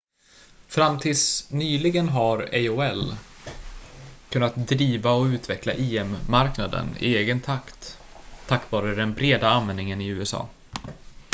fram tills nyligen har aol kunnat driva och utveckla im-marknaden i egen takt tack vare den breda användningen i usa